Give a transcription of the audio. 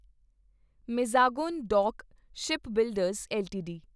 Mazagon dock shipbuilders LTD